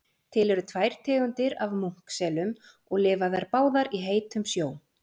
Til eru tvær tegundir af munkselum og lifa þær báðar í heitum sjó.